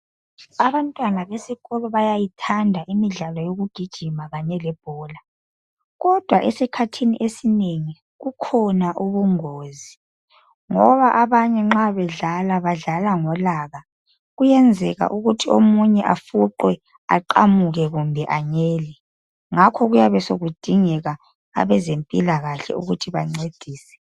Abantwana besikolo bayithanda imidlalo yokugijima khanye lebhola. Kodwa esikhathini esinengi kukhona ubungozi, ngoba abanye nxa bedlala badlala, ngolaka. Kuyenzeka ukuthi omunye ofuqwe aqamuke kumbe anyele. Ngakho kuyabe sokudingeka abazmpilakahle ukuthi bancedise.